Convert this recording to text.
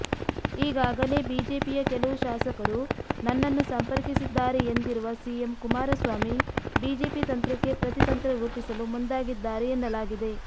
ಈಗಾಗಲೇ ಬಿಜೆಪಿಯ ಕೆಲವು ಶಾಸಕರು ನನ್ನನ್ನು ಸಂಪರ್ಕಿಸಿದ್ದಾರೆ ಎಂದಿರುವ ಸಿಎಂ ಕುಮಾರಸ್ವಾಮಿ ಬಿಜೆಪಿ ತಂತ್ರಕ್ಕೆ ಪ್ರತಿತಂತ್ರ ರೂಪಿಸಲು ಮುಂದಾಗಿದ್ದಾರೆ ಎನ್ನಲಾಗಿದೆ